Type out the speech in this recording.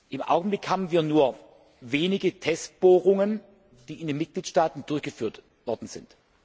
Im Augenblick haben wir nur wenige Testbohrungen, die in den Mitgliedstaaten durchgeführt worden sind.